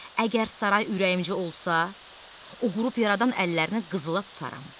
Əgər saray ürəyimcə olsa, o qrup yaradan əllərini qızıla tutaram.